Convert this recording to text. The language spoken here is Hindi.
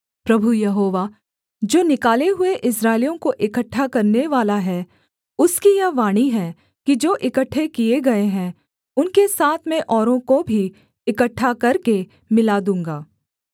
प्रभु यहोवा जो निकाले हुए इस्राएलियों को इकट्ठे करनेवाला है उसकी यह वाणी है कि जो इकट्ठे किए गए हैं उनके साथ मैं औरों को भी इकट्ठे करके मिला दूँगा